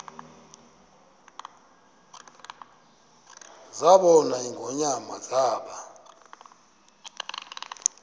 zabona ingonyama zaba